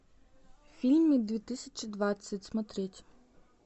фильмы две тысячи двадцать смотреть